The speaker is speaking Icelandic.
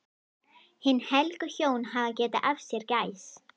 Hin helgu hjón hafa getið af sér gæs.